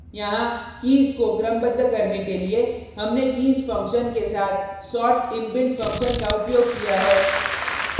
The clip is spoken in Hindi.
यहाँ कीज़ को क्रमबद्ध करने के लिए हमने कीज़ फक्शन के साथ sort इनबिल्ट फंक्शन का उपयोग किया है